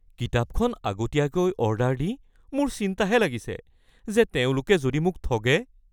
কিতাপখন আগতীয়াকৈ অৰ্ডাৰ দি মোৰ চিন্তাহে লাগিছে যে তেওঁলোকে যদি মোক ঠগে?